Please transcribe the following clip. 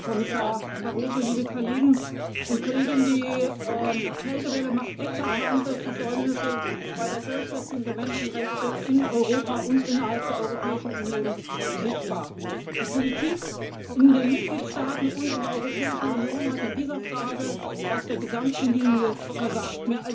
Herr Präsident, Herr Kommissionspräsident Barroso, liebe Kolleginnen und Kollegen! Die Kältewelle macht eklatante Versäumnisse bei der Durchsetzung der Menschenrechte in Europa und innerhalb der Europäischen Union sichtbar. Die Politik in den Mitgliedstaaten und in der Europäischen Union hat in dieser Frage auf der gesamten Linie versagt.